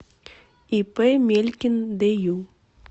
ип мелькин дю